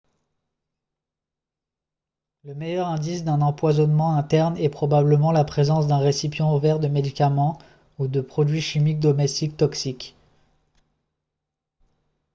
le meilleur indice d'un empoisonnement interne est probablement la présence d'un récipient ouvert de médicaments ou de produits chimiques domestiques toxiques